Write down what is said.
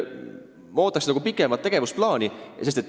Me ootame teilt pikemat tegevusplaani.